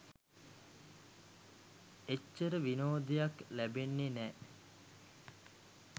එච්චර විනෝදයක් ලැබෙන්නෙ නෑ.